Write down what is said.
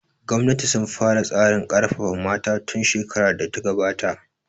Gwamnati sun fara tsarin ƙarfafa mata tun shekarar da ta gabata